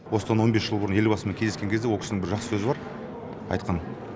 осыдан он бес жыл бұрын елбасымен кездескен кезде ол кісінің бір жақсы сөзі бар айтқан